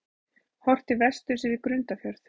Horft til vesturs yfir Grundarfjörð.